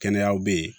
Kɛnɛyaw bɛ ye